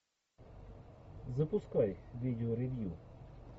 запускай видео ревью